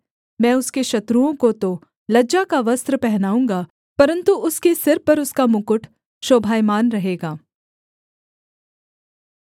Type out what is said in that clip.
मैं उसके शत्रुओं को तो लज्जा का वस्त्र पहनाऊँगा परन्तु उसके सिर पर उसका मुकुट शोभायमान रहेगा